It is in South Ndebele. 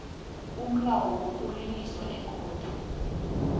umlayo wokuliliswa ekhotho